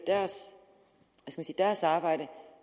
deres arbejde